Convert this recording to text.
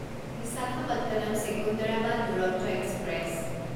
Visakhapatnam Secunderabad Duronto express